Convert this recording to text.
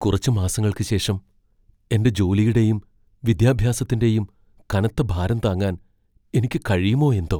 കുറച്ച് മാസങ്ങൾക്ക് ശേഷം എന്റെ ജോലിയുടെയും വിദ്യാഭ്യാസത്തിന്റെയും കനത്ത ഭാരം താങ്ങാൻ എനിക്ക് കഴിയുമോ എന്തോ!